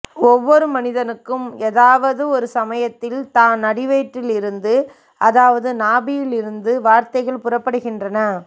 ஒவ்வொரு மனிதனுக்கும் எதாவது ஒரு சமயத்தில் தான் அடிவயிற்றில் இருந்து அதாவது நாபியில் இருந்து வார்த்தைகள் புறப்படுகின்றன